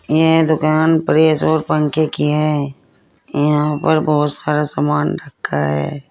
यह दुकान प्रेस और पंखे की है यहां पर बहुत सारा सामान रखा है।